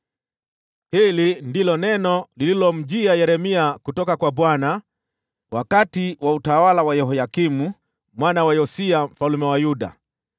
Hili ndilo neno lililomjia Yeremia kutoka kwa Bwana , wakati wa utawala wa Yehoyakimu mwana wa Yosia mfalme wa Yuda: